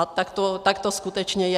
A tak to skutečně je.